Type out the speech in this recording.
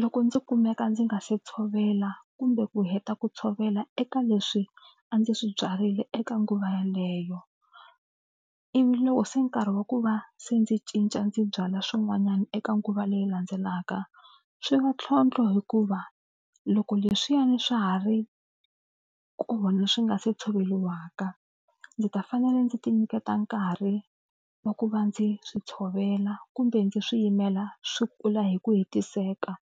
Loko ndzi kumeka ndzi nga se tshovela kumbe ku heta ku tshovela eka leswi a ndzi swi byarile eka nguva yaleyo ivi loko se nkarhi wa ku va se ndzi cinca ndzi byala swin'wanyana eka nguva leyi landzelaka swi va ntlhontlho hikuva loko leswiyani swa ha ri kona swi nga se tshoveriwaka ndzi ta fanele ndzi tinyiketa nkarhi wa ku va ndzi swi tshovela kumbe ndzi swi yimela swi kula hi ku hetiseka.